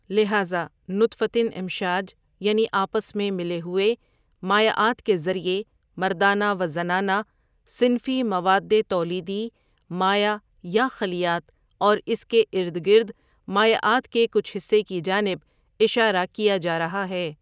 لہذا نطفةٍ امشاج یعنی آپس میں ملے ہوئے مائعات کے ذریعے مردانہ و زنانہ صنفی مواد تولیدی مائع یا خلیات اور اس کے اردگرد مائعات کے کچھ حصّے کی جانب اشارہ کیاجا رہا ہے۔